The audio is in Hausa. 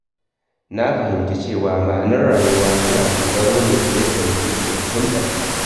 Na fahimci cewa ma’anar rayuwa tana dogara ne da yadda mutum ke fahimtar ta.